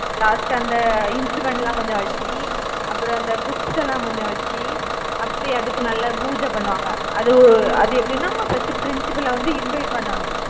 last அந்த instrument லாம் கொஞ்சம் வச்சு அப்புறம் அந்த books எல்லாம் கொஞ்சம் வச்சு அப்படி அதுக்கு நல்லா பூஜை பண்ணுவாங்க. அது ஓ அது எப்படின்னா first principal ல வந்து invite பண்ணனும்